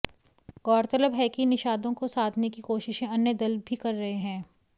गौरतलब है कि निषादों को साधने की कोशिशें अन्य दल भी कर रहे हैं